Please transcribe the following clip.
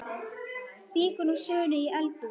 Víkur nú sögunni í eldhús.